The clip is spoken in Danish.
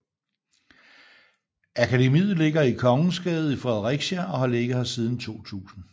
Akademiet ligger i Kongensgade i Fredericia og har ligget her siden 2000